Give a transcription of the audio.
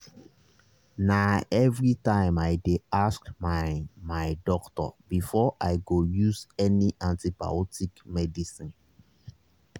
na everytime i dey ask my my doctor before i go use any antibiotic medicine.